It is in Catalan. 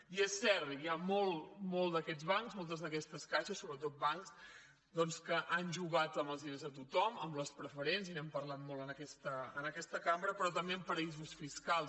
i és cert hi han molts d’aquests bancs moltes d’aquestes caixes sobretot bancs que han jugat amb els diners de tothom amb les preferents i n’hem parlat molt en aquesta cambra però també en paradisos fiscals